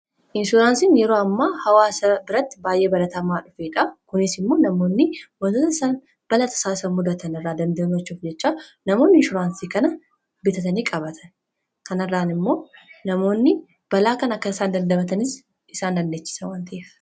inshuraansiin yeroo ammaa hawaa sa biratti baay'ee baratamaa dhufeedha kuniis immoo namoonni wantoota isaan balaatasaa mudatan irraa dandaamachuuf jechaa namoonni inshoraansii kana bitatanii qabatan kanirraan immoo namoonni balaa kan akka isaan dandamatani isaan dandechisa wanta'eef